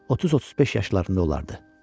30-35 yaşlarında olardı.